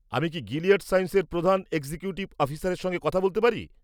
আমি কি গিলিয়াড সায়েন্সের প্রধান এক্সিকিউটিভ অফিসারের সঙ্গে কথা বলতে পারি?